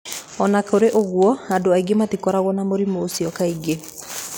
O na kũrĩ ũguo, andũ angĩ matikoragwo na mũrimũ ũcio kaingĩ.